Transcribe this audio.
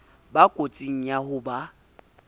ba kotsing ya ho ba